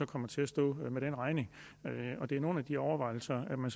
kommer til at stå med den regning det er nogle af de overvejelser man